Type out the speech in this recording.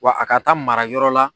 Wa a ka taa mara yɔrɔ la.